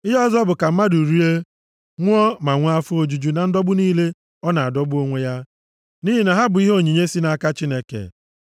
Ihe ọzọ bụ ka mmadụ rie, ṅụọ, ma nwee afọ ojuju na ndọgbu niile ọ na-adọgbu onwe ya, nʼihi na ha bụ onyinye si nʼaka Chineke.